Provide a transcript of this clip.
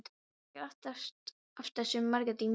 Þórbergur er aftastur, Margrét í miðjunni.